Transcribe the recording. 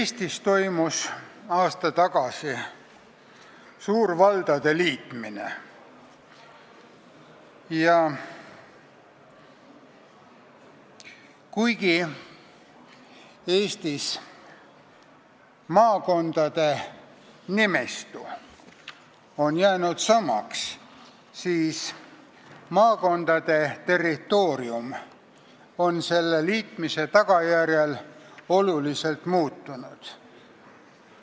Eestis toimus aasta tagasi suur valdade liitmine ja kuigi maakondade nimistu on jäänud samaks, on maakondade territoorium selle tagajärjel oluliselt muutunud.